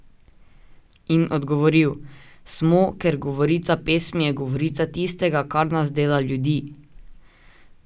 In odgovoril: 'Smo, ker govorica pesmi je govorica tistega, kar nas dela ljudi!